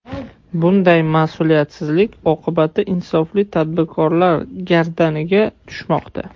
Bunday mas’uliyatsizlik oqibati insofli tadbirkorlar gardaniga tushmoqda.